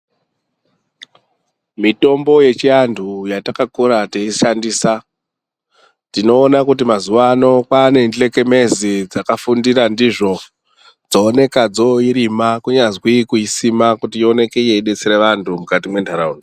Mitombo yechiantu yatakakura teishandisa tinoona kuti mazuwano kwane dhlekemezi dzakafundira ndizvo dzooneka dzoirima kunyazwi kuisima kuti ioneke yeidetsera vantu mukati mwentaraunda.